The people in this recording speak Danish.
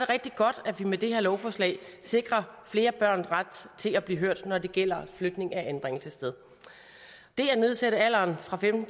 rigtig godt at vi med det her lovforslag sikrer flere børn ret til at blive hørt når det gælder flytning af anbringelsessted det at nedsætte alderen fra femten